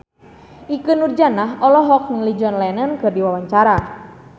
Ikke Nurjanah olohok ningali John Lennon keur diwawancara